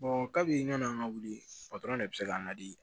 kabi yann'an ka wuli de bɛ se k'an ladi